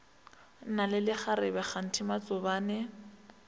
na le lekgarebe kganthe matsobane